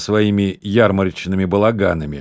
своими ярмарочными балаганами